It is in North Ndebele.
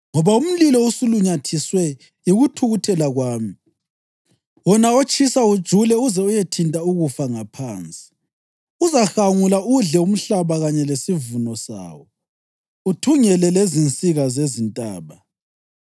Ngoba umlilo usulunyathiswe yikuthukuthela kwami, wona otshisa ujule uze uyethinta ukufa ngaphansi. Uzahangula udle umhlaba kanye lesivuno sawo uthungele lezinsika zezintaba.